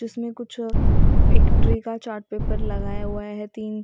इसमें कुछ एक ट्री का चार्ट पेपर लगाया हुआ है तीन--